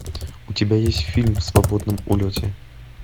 у тебя есть фильм в свободном улете